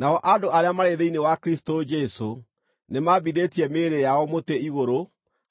Nao andũ arĩa marĩ thĩinĩ wa Kristũ Jesũ nĩmambithĩtie mĩĩrĩ yao mũtĩ-igũrũ